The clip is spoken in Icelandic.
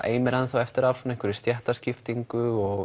eimir eftir af svona stéttaskiptingu og